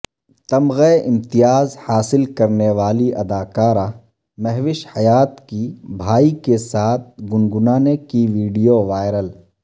تمغہ امتیاز حاصل کرنیوالی اداکارہ مہوش حیات کی بھائی کے ساتھ گنگنانے کی ویڈیو وائرل